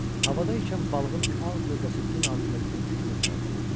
Havada ikən balığın ağ gövdəsi gün altında gümüş kimi parıldayırdı.